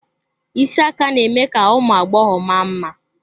Isi aka na-eme ka ụmụ agbọghọ ma mma.